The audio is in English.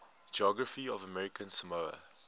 geography of american samoa